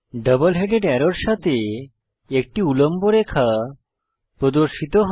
double headed অ্যারোর সাথে একটি উল্লম্ব রেখা প্রদর্শিত হয়